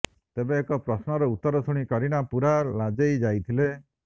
ତେବେ ଏକ ପ୍ରଶ୍ନର ଉତ୍ତର ଶୁଣି କରୀନା ପୂରା ଲାଜେଇ ଯାଇଥିଲେ